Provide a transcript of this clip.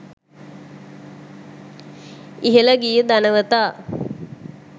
ඉහිල ගිය ධනවතා